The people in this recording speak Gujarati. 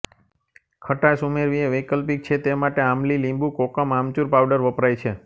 ખટાશ ઉમેરવી એ વૈકલ્પિક છે તે માટે આમલી લીંબુ કોકમ આમચૂર પાવડર વપરાય છે